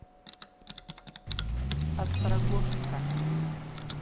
острогожска